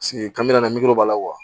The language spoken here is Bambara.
ka na miiri o b'a la